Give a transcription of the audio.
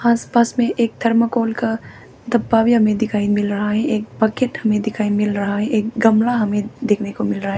आसपास में एक थर्माकोल का डब्बा भी हमें दिखाई मिल रहा है एक बकेट हमें दिखाई मिल रहा है एक गमला हमें देखने को मिल रहा है।